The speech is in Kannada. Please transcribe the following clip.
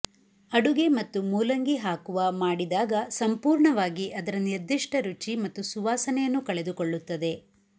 ಅಡುಗೆ ಮತ್ತು ಮೂಲಂಗಿ ಹಾಕುವ ಮಾಡಿದಾಗ ಸಂಪೂರ್ಣವಾಗಿ ಅದರ ನಿರ್ದಿಷ್ಟ ರುಚಿ ಮತ್ತು ಸುವಾಸನೆಯನ್ನು ಕಳೆದುಕೊಳ್ಳುತ್ತದೆ